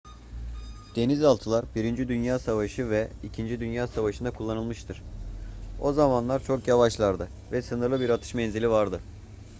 denizaltılar i dünya savaşı ve ii dünya savaşı'nda kullanılmıştır o zamanlar çok yavaşlardı ve sınırlı bir atış menzilleri vardı